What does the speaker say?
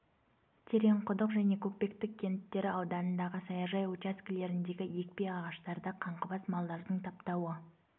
тереңқұдық және көкпекті кенттері ауданындағы саяжай учаскелеріндегі екпе ағаштарды қаңғыбас малдардың таптауы